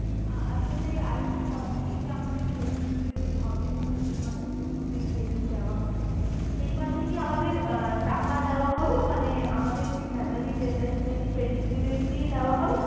আহ আসলে আরেকটা কথা, এই যে আমাদের training period হবে অনেকে মাসের প্রথমে training দেওয়া হবে এই মাসে কি আমাদের আহ টাকা দেওয়া হবে মানে আমাদের কি salary যেটা সেটা কি training period এই দেওয়া হবে?